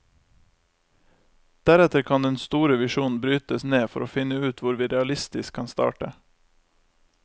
Deretter kan den store visjonen brytes ned for å finne ut hvor vi realistisk kan starte.